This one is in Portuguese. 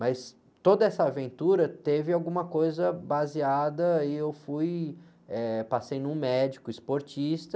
Mas toda essa aventura teve alguma coisa baseada e eu fui, eh, passei num médico esportista,